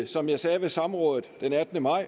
som jeg sagde ved samrådet den attende maj